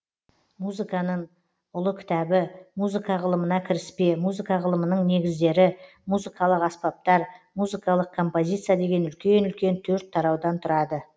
музыканын ұлы кітабы музыка ғылымына кіріспе музыка ғылымының негіздері музыкалық аспаптар музыкалық композиция деген үлкен үлкен төрт тараудан тұрады